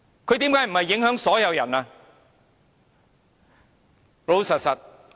難道他不是影響到所有人？